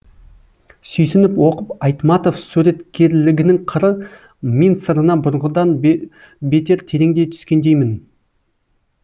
сүйсініп оқып айтматов суреткерлігінің қыры мен сырына бұрынғыдан бетер тереңдей түскендеймін